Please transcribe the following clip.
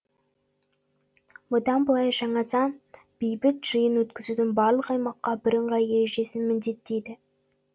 бұдан былай жаңа заң бейбіт жиын өткізудің барлық аймаққа бірыңғай ережесін міндеттейді